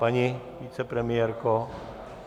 Paní vicepremiérko?